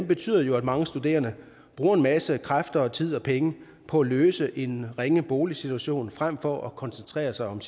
betyder jo at mange studerende bruger en masse kræfter og tid og penge på at løse en ringe boligsituation frem for at koncentrere sig om